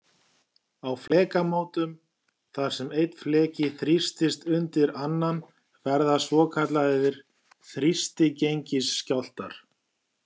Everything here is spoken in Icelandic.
Á flekamótum þar sem einn fleki þrýstist undir annan verða svokallaðir þrýstigengisskjálftar.